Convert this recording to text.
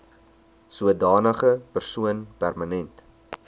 sodanige persoon permanent